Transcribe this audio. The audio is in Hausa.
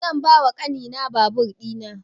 Zan ba wa ƙani na babur ina